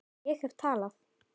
Ég hef talað